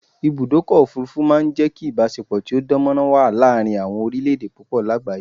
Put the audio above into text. Ibùdọ́kọ̀ òfurufú ma n jẹ́ kí ìbáṣepọ̀ tó dánmọ́rán wà láàrin àwọn orílẹ̀ èdè púpọ̀ lágbàyé